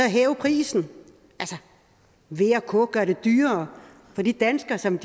hæve prisen v og k vil gøre det dyrere for de danskere som